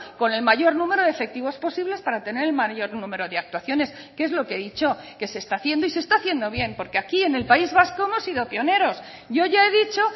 con el mayor número de efectivos posibles para tener el mayor número de actuaciones que es lo que he dicho que se está haciendo y se está haciendo bien porque aquí en el país vasco hemos sido pioneros yo ya he dicho